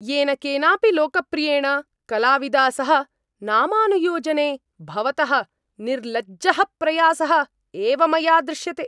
येनकेनापि लोकप्रियेण कलाविदा सह नामानुयोजने भवतः निर्लज्जः प्रयासः एव मया दृश्यते।